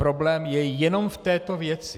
Problém je jenom v této věci.